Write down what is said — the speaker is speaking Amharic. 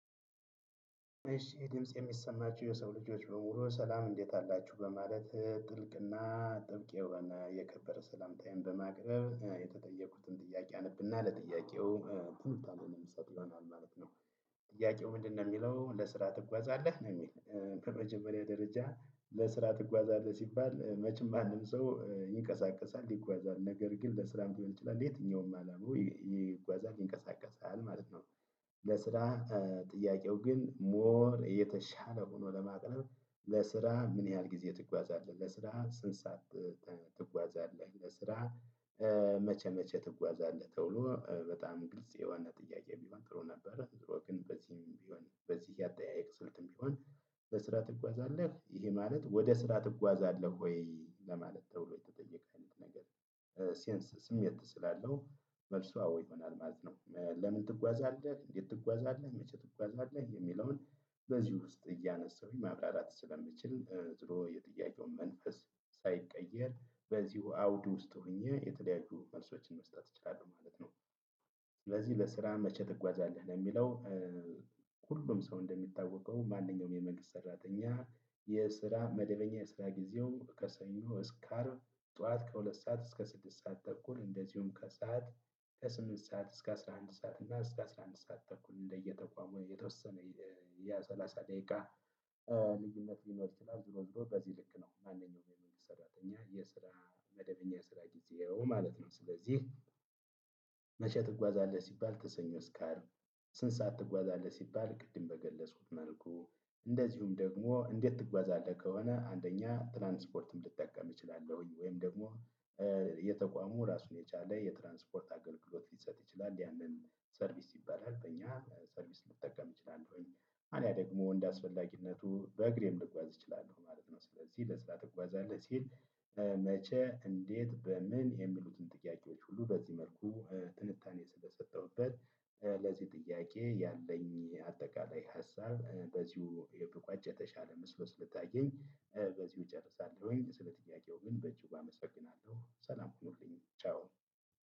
እሺ ድምፄ የሚሰማችሁ የሰው ልጆች በሙሉ ሰላም እንዴት አላችሁ በማለት ጥልቅና ጥብቅ የሆነ የከበረ ሰላምታዬን በማቅረብ የተጠየኩትን ጥያቄ አነብና ለጥያቄው ትንታኔን የምሰጥ ይሆናል ማለት ነው። ጥያቄው ምንድነው የሚለው ለስራ ትጓዛለህ ነው? የሚል በመጀመሪያ ደረጃ ለስራ ትጓዛለህ ሲባል መቼም ማንም ሰው ይንቀሳቀሳል ይጓዛል ነገር ግን ለስራም ሊሆን ይችላል የትኛውም አላማው ይጓዛል ይንቀሳቀሳል ማለት ነው። ለስራ ጥያቄው ግን ሞር የተሻለ ሆኖ ለማቅረብ ለስራ ምን ያህል ጊዜ ትጓዛለህ ለስራ ስንት ሰዓት? ትጓዛለህ ለስራ መቼ መቼ ትጓዛለህ? ተብሎ በጣም ግልጽ የሆነ ጥያቄ ቢሆን ጥሩ ነበረ ዙሮ ግን በዚህም ብሆን በዚህ የአጠያየቅ ስልትም ቢሆን። በስራ ትጓዛለህ ይሄ ማለት ወደ ስራ ትጓዛለህ ወይ ለማለት ተብሎ የተጠየቀ አይነት ነገር። ሴንስ ስሜት ስላለው መልሱ አዎ ይሆናል ማለት ነው። ለምን ትጓዛለህ እንዴት ትጓዛለህ መቼ ትጓዛለህ የሚለውን። በዚህ ውስጥ እያነሳሁኝ ማብራራት ስለምችል ዙሮ የጥያቄውን መንፈስ ሳይቀየር በዚሁ አውድ ውስጥ ሆኜ የተለያዩ መልሶችን መስጠት እችላለሁ ማለት ነው። ስለዚህ ለስራ መቼ ትጓዛለህ ለሚለው? ሁሉም ሰው እንደሚታወቀው ማንኛውም የመንግስት ሰራተኛ የስራ መደበኛ የስራ ጊዜው ከሰኞ እስከ አርብ ጠዋት ከሁለት ሰዓት እስከ ስድስት ሰዓት ተኩል እንደዚሁም ከሰአት ከስምንት ሰዓት እስከ አስራ አንድ ሰዓት እና እስከ አስራ አንድ ሰዓት ተኩል እንደየተቋሙ የተወሰነ። የ ሰላሳ ደቂቃ ልዩነት ሊኖር ይችላል። ዙሮ ዙሮ በዚህ ልክ ነው ማንኛውም የመንግስት ሰራተኛ የስራ መደበኛ የስራ ጊዜው ማለት ነው ስለዚህ። መቼ ትጓዛለህ ሲባል ከሰኞ እስከ አርብ። ስንት ሰዓት ትጓዛለህ ሲባል ቅድም በገለጽኩት መልኩ። እንደዚሁም ደግሞ እንዴት ትጓዛለህ ከሆነ አንደኛ ትራንስፖርትም ልጠቀም እችላለሁኝ ወይም ደግሞ። የተቋሙ ራሱን የቻለ የትራንስፖርት አገልግሎት ሊሰጥ ይችላል ያንን ሰርቪስ ይባላል በኛ ሰርቪስ ልጠቀም እችላለሁኝ። አልያም ደግሞ እንደ አስፈላጊነቱ በእግሬም ልጓዝ እችላለሁ ማለት ነው። ስለዚህ ለስራ ትጓዛለህ ሲል። መቼ እንዴት በምን የሚሉትን ጥያቄዎች ሁሉ በዚህ መልኩ ትንታኔ ስለሰጠሁበት። ለዚህ ጥያቄ ያለኝ አጠቃላይ ሀሳብ በዚሁ ብቋጭ የተሻለ መስሎ ሰለታየኝ በዚሁ እጨርሳለሁኝ። ስለ ጥያቄው ግን በእጅጉ አመሰግናለሁ ሰላም ሁኑልኝ ቻው።